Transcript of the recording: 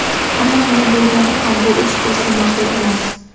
Ammo, nima bo‘lganda ham, bu ish bizga ma’qul emas.